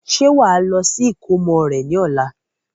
Ṣé wàá lọ sí ìkómọ rẹ ní ọ̀la?